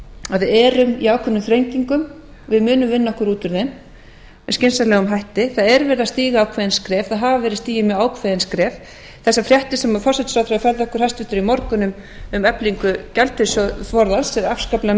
að við erum í ákveðnum þrengingum við munum vinna okkur út úr þeim með skynsamlegum hætti það er verið að stíga ákveðin skref það hafa verið stigin mjög ákveðin skref þessar fréttir sem hæstvirtur forsætisráðherra færði okkur í morgun um eflingu gjaldeyrisforðans eru afskaplega